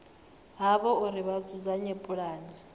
havho uri vha dzudzanye pulane